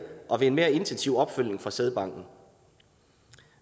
og ved en mere intensiv opfølgning fra sædbanken